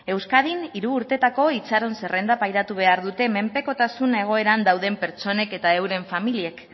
euskadin hiru urtetako itxaron zerrenda pairatu behar dute menpekotasun egoeran dauden pertsonek eta euren familiek